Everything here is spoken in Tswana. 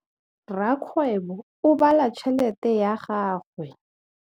Rakgwêbô o bala tšheletê ya gagwe.